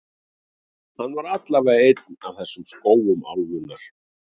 Hann er allavega einn af þekktustu skógum álfunnar.